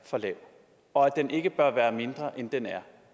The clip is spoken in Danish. for lav og at den ikke bør være mindre end den er